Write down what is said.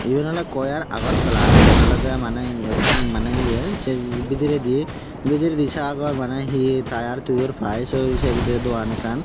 iban ole coir agartala sen olode mane ekkan mane iye se bidiride sagor bana he tier thuor piy se bidiride dogan ekkan.